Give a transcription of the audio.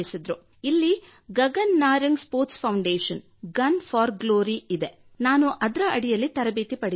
ಇಲ್ಲಿ Gagan Narang sports foundation gun for glory ಇದೆ ನಾನು ಅದರ ಅಡಿಯಲ್ಲಿ ತರಬೇತಿ ಪಡೆಯುತ್ತಿದ್ದೇನೆ